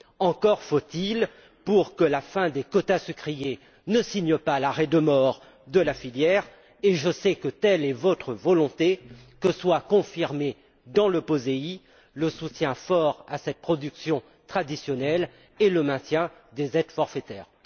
Encore faut il, pour que la fin des quotas sucriers ne signe pas l'arrêt de mort de la filière et je sais que telle est votre volonté que soit confirmé dans le POSEI le soutien fort à cette production traditionnelle et le maintien des aides forfaitaires.